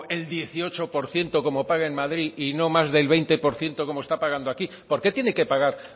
el dieciocho por ciento como paga en madrid y no más del veinte por ciento como está pagando aquí por qué tiene que pagar